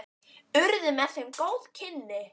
Urðu með þeim góð kynni.